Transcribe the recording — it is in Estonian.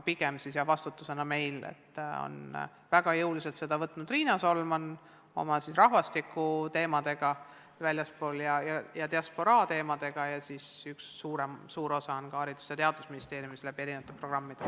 Väga jõuliselt on seda teemat käsitlenud Riina Solman seoses rahvastiku, väljaspool Eestit elavate inimeste ja diasporaaga, aga üks suur osa on ka Haridus- ja Teadusministeeriumil läbi programmide.